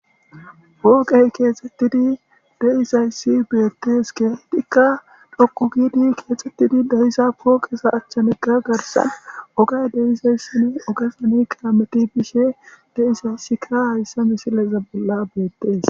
Wooqey keexxettidi deizayssi beettes kehidikka dhokku giidi keexxettidi deyiza pooqeza achchanekka garsan ogay deizayssin ogefani kaameti bishe de7izayssika hayssa misileza bolla beettes